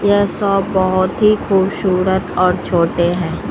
यह शॉप बहोत ही खूबसूरत और छोटे हैं।